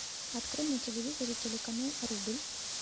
открой на телевизоре телеканал рубль